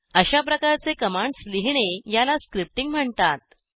अशा प्रकारचे कमांड्स लिहिणे याला स्क्रिप्टिंग म्हणतात